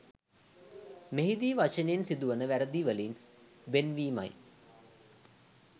මෙහිදී වචනයෙන් සිදුවන වැරැදිවලින් වෙන්වීමයි